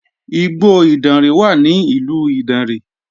Igbó Ìdànrè wà ní ìlú Ìdànrè